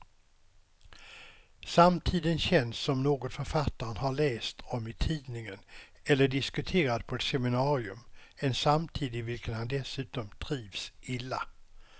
Samtiden känns som något författaren har läst om i tidningen eller diskuterat på ett seminarium, en samtid i vilken han dessutom trivs illa.